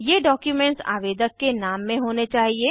ये डॉक्युमेंट्स आवेदक के नाम में होने चाहिए